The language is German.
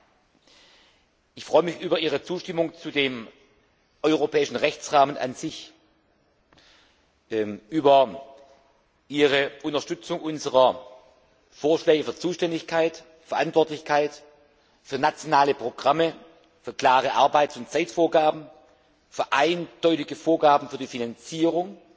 Ich freue mich über Ihre grundsätzliche Zustimmung zu dem europäischen Rechtsrahmen an sich, über Ihre Unterstützung unserer Vorschläge für Zuständigkeit, Verantwortlichkeit für nationale Programme, für klare Arbeits und Zeitvorgaben, für eindeutige Vorgaben für die Finanzierung,